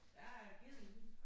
Der er ged i den